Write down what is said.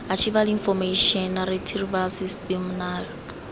archival information retrieval system naairs